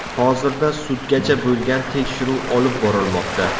Hozirda sudgacha bo‘lgan tekshiruv olib borilmoqda.